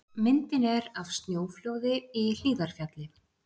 Myndin er af snjóflóði í Hlíðarfjalli.